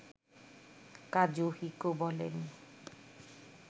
Kazuhiko বলেন